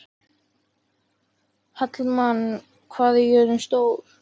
Hallmann, hvað er jörðin stór?